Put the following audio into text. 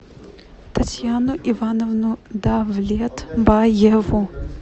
татьяну ивановну давлетбаеву